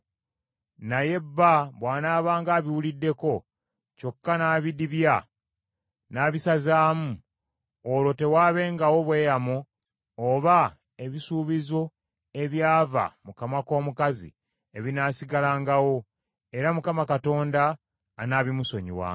Naye bba bw’anaabanga abiwuliddeko, kyokka n’abidibya n’abisazaamu, olwo tewaabengawo bweyamo oba ebisuubizo ebyava mu kamwa k’omukazi, ebinaasigalangawo, era Mukama Katonda anaabimusonyiwanga.